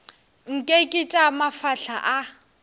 nke ke tša mafahla a